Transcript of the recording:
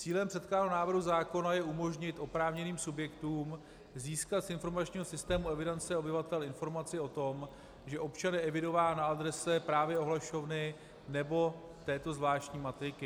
Cílem předkládaného návrhu zákona je umožnit oprávněným subjektům získat z informačního systému evidence obyvatel informaci o tom, že občan je evidován na adrese právě ohlašovny nebo této zvláštní matriky.